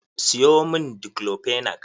Siyo mun Daiclofenac.